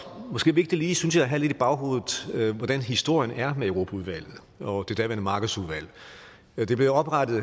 måske vigtigt synes jeg lige at have lidt i baghovedet hvordan historien er med europaudvalget og det daværende markedsudvalg det blev oprettet